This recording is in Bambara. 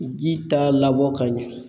Ji t'a labɔ ka ɲɛ.